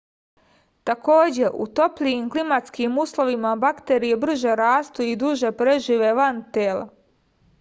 takođe u toplijim klimatskim uslovima bakterije brže rastu i duže prežive van tela